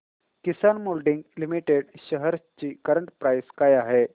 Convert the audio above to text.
किसान moulding limited shares ची current price काय आहे